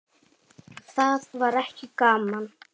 Það var ekki gaman.